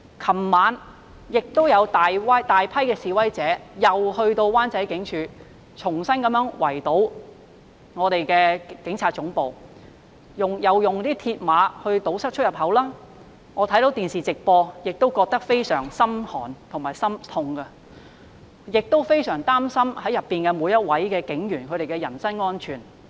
昨晚有大批示威者再到灣仔圍堵警察總部，他們再次以鐵馬堵塞出入口，我看着電視直播感到非常心寒和心痛，亦非常擔心裏面每位警員的人身安全。